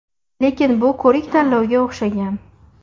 Lekin bu ko‘rik-tanlovga o‘xshagan.